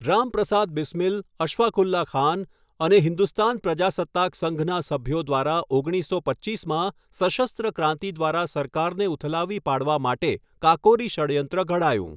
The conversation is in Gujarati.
રામપ્રસાદ બિસ્મીલ અશફાક ઉલ્લા ખાન અને હિન્દુસ્તાન પ્રજાસત્તાક સંઘના સભ્યો દ્વારા ઓગણીસો પચ્ચીસમાં સશસ્ત્ર ક્રાંતિ દ્વારા સરકારને ઉથલાવી પાડવા માટે કાકોરી ષડયંત્ર ઘડાયું.